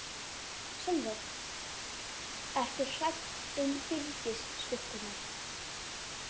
Sólveig: Ertu hrædd um Byrgis-stúlkurnar?